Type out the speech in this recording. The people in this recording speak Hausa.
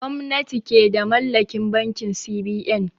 Gwamnati ke da mallakin bankin C.B.N